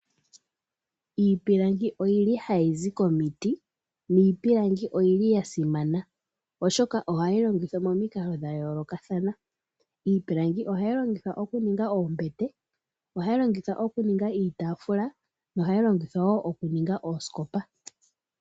Iipilangi oyili hayi zi komiti niipilangi oyili ya simana, oshoka ohayi longithwa momikalo dha yoolokathana. Iipilangi ohayi longithwa oku ninga oombete, ohayi longithwa okuninga iitaafula nohayi longithwa wo okuninga oosikopa.